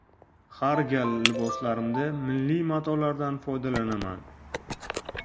Har gal liboslarimda milliy matolardan foydalanaman.